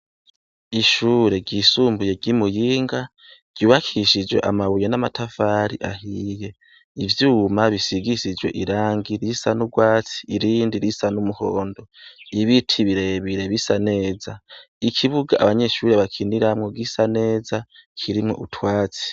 Ishure ryisumbuye ry'i Muyinga ryubakishijwe amabuye n'amatafari ahiye, ivyuma bisigishijwe irangi risa nurwatsi irindi risa n'umuhondo. Ibiti birebire bisa neza. Ikibuga abanyeshure bakiniramwo gisa neza kirimwo utwatsi.